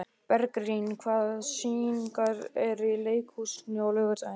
Bergrín, hvaða sýningar eru í leikhúsinu á laugardaginn?